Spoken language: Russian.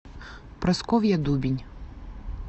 прасковья дубень